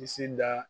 Bilisi da